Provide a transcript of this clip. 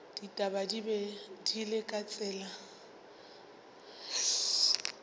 ditaba di le ka tsela